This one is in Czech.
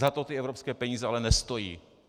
Za to ty evropské peníze ale nestojí.